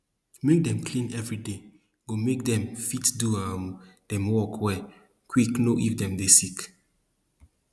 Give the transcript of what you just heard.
make dem clean everyday go make dem fit do um dem work well quick know if dem dey sick